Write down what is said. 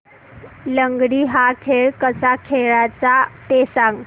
लंगडी हा खेळ कसा खेळाचा ते सांग